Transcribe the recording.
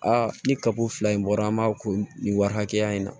Aa ni kaba fila in bɔra an b'a ko nin wari hakɛya in na